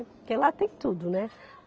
Porque lá tem tudo, né?